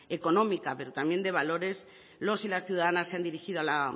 económica pero también de valores los y las ciudadanas se han dirigido a la